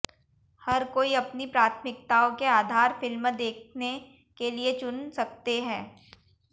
हर कोई अपनी प्राथमिकताओं के आधार फ़िल्म देखने के लिए चुन सकते हैं